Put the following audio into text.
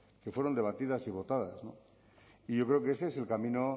que fueron debatidas y votadas no y yo creo que ese es el camino